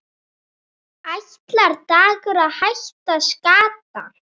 Ætlar Dagur að hækka skatta?